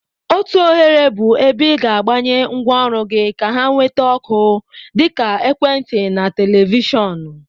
Otu oghere bụ ebe ị ga-agbanye ngwaọrụ gị ka ha nweta ọkụ, dịka. Ekwentị, Televishon.